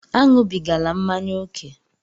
Aṅụbigala mmanya ókè!